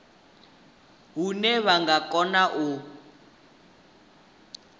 hune vha nga kona u